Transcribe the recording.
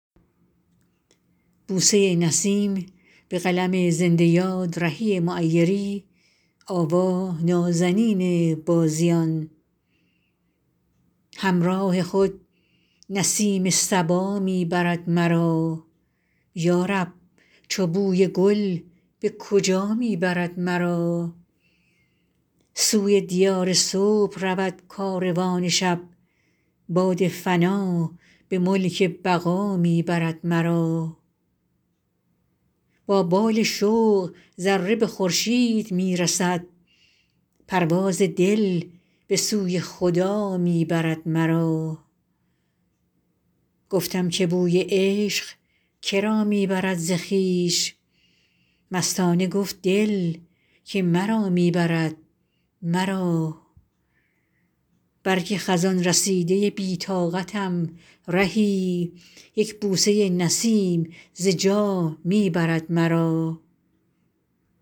همراه خود نسیم صبا می برد مرا یا رب چو بوی گل به کجا می برد مرا سوی دیار صبح رود کاروان شب باد فنا به ملک بقا می برد مرا با بال شوق ذره به خورشید می رسد پرواز دل به سوی خدا می برد مرا گفتم که بوی عشق که را می برد ز خویش مستانه گفت دل که مرا می برد مرا برگ خزان رسیده بی طاقتم رهی یک بوسه نسیم ز جا می برد مرا